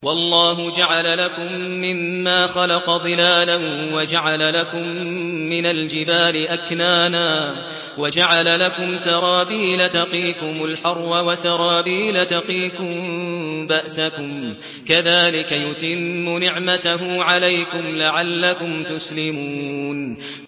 وَاللَّهُ جَعَلَ لَكُم مِّمَّا خَلَقَ ظِلَالًا وَجَعَلَ لَكُم مِّنَ الْجِبَالِ أَكْنَانًا وَجَعَلَ لَكُمْ سَرَابِيلَ تَقِيكُمُ الْحَرَّ وَسَرَابِيلَ تَقِيكُم بَأْسَكُمْ ۚ كَذَٰلِكَ يُتِمُّ نِعْمَتَهُ عَلَيْكُمْ لَعَلَّكُمْ تُسْلِمُونَ